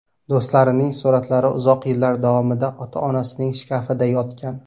Do‘stlarining suratlari uzoq yillar davomida ota-onasining shkafida yotgan.